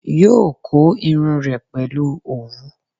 Yóò kó irun rẹ̀ pẹ̀lú òwú